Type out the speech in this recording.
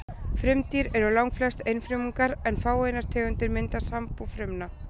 Frumdýr eru langflest einfrumungar en fáeinar tegundir mynda sambú frumna.